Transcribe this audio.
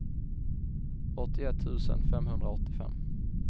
åttioett tusen femhundraåttiofem